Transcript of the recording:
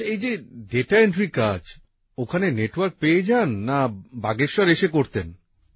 আচ্ছা এই যে ডাটা এনট্রির কাজ ওখানে নেটওয়ার্ক পেয়ে যান না বাগেশ্বর এসে করতেন